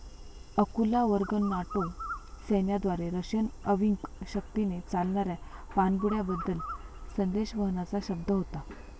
अकुला वर्ग नाटो सैन्याद्वारे रशियन अंविक शक्तीने चालणाऱ्या पाणबुड्या बद्दल संदेशवहनाचा शब्द होता